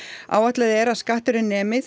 áætlað er að skatturinn nemi